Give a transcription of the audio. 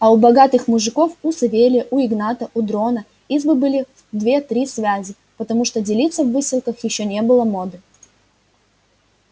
а у богатых мужиков у савелия у игната у дрона избы были в две-три связи потому что делиться в выселках ещё не было моды